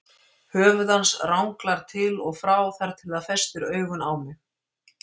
Höfuð hans ranglar til og frá þar til það festir augun á mig.